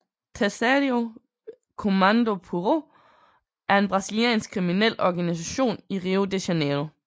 Terceiro Comando Puro er en brasiliansk kriminel organisation i Rio de Janiero